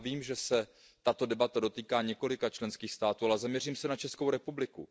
Já vím, že se tato debata dotýká několika členských států, ale zaměřím se na Českou republiku.